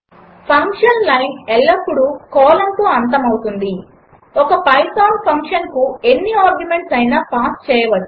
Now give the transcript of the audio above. function line ఎల్లప్పుడు కోలన్తో అంతమవుతుంది ఒక పైథాన్ ఫంక్షన్కు ఎన్ని ఆర్గ్యుమెంట్స్ అయినా పాస్ చేయవచ్చును